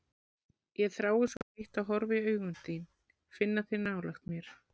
Ég þrái svo heitt að horfa í augun þín, finna þig nálægt mér.